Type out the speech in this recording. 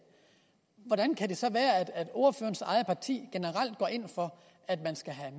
hvordan kan det så være at ordførerens eget parti generelt går ind for at der skal